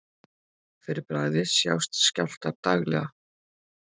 fyrir bragðið sjást skjálftar daglega